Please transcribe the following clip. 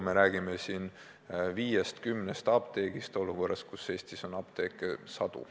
Me räägime siin viiest kuni kümnest apteegist olukorras, kus Eestis on apteeke sadu.